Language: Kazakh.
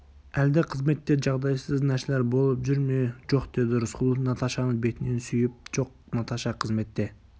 әлде қызметте жағдайсыз нәрселер болып жүр ме жоқ деді рысқұлов наташаны бетінен сүйіп жоқ наташа қызметте